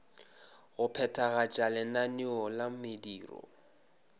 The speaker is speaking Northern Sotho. go phethagatša lenaneo la mediro